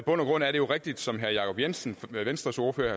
grund er det jo rigtigt som herre jacob jensen venstres ordfører